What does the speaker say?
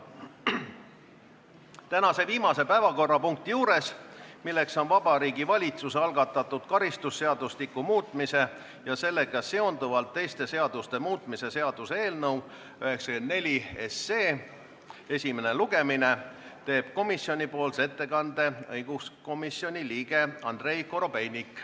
Tänase viimase päevakorrapunkti arutelul, Vabariigi Valitsuse algatatud karistusseadustiku muutmise ja sellega seonduvalt teiste seaduste muutmise seaduse eelnõu 94 esimesel lugemisel teeb komisjoni ettekande õiguskomisjoni liige Andrei Korobeinik.